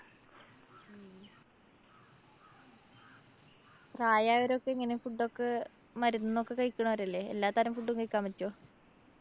പ്രായായോരോക്കെ എങ്ങനാ? food ഒക്കെ. മരുന്നൊക്കെ കഴിക്കണോരല്ലേ? എല്ലാതരം food കഴിക്കാന്‍ പറ്റുവോ?